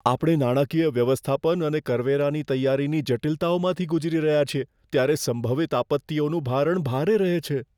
આપણે નાણાકીય વ્યવસ્થાપન અને કરવેરાની તૈયારીની જટિલતાઓમાંથી ગુજરી રહ્યા છીએ, ત્યારે સંભવિત આપત્તિઓનું ભારણ ભારે રહે છે.